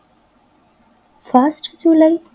first July